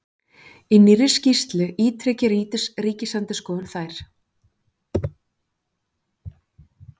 Í nýrri skýrslu ítreki Ríkisendurskoðun þær